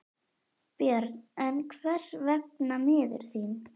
Björn: En hvers vegna miður þín?